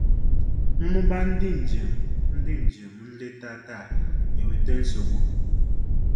Mmuba ndị njem ndị njem nleta taa eweta nsogbu.